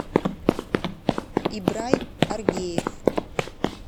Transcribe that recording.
ибрай аргеев